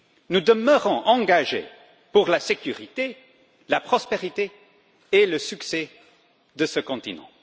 Nous demeurons engagés pour la sécurité, la prospérité et le succès de ce continent.